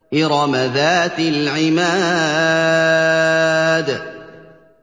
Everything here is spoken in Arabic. إِرَمَ ذَاتِ الْعِمَادِ